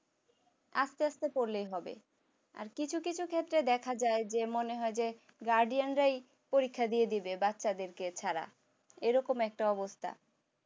আস্তে আস্তে পড়লেই হবে, আর কিছু কিছু ক্ষেত্রে দেখা চাইছে মনে হয় যে guardian রাই পরীক্ষা দিয়ে দেখে বাচ্চাদেরকে ছাড়া এরকম একটা অবস্থা